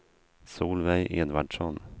Solveig Edvardsson